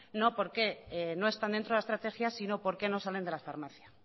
no por qué no están dentro de la estrategia sino por qué no salen de la farmacia